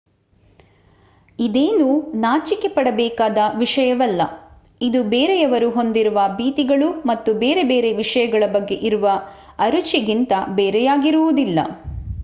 ಇದೇನೂ ನಾಚಿಕೆಪಡಬೇಕಾದ ವಿಷಯವಲ್ಲ ಇದು ಬೇರೆಯವರು ಹೊಂದಿರುವ ಭೀತಿಗಳು ಮತ್ತು ಬೇರೆ ಬೇರೆ ವಿಷಯಗಳ ಬಗ್ಗೆ ಇರುವ ಅರುಚಿಗಿಂತ ಬೇರೆಯಾಗಿರುವುದಿಲ್ಲ